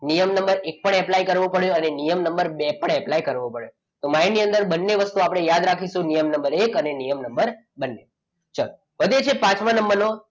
નિયમ નંબર એક પણ એપ્લાય કરવો પડે અને નિયમ નંબર બે પણ એપ્લાય કરવો પડે તો આની અંદર આપણે બે વસ્તુઓ યાદ રાખીશું નિયમ નંબર એક અને નિયમ નંબર બે ચલો પછી જે પાંચમા નંબરનો